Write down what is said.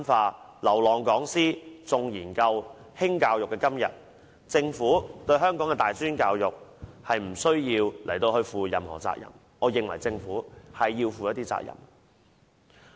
在"流浪講師"，重研究、輕教育的今天，政府對香港的大專教育無須負上所有責任，但我認為政府起碼要負上一些責任。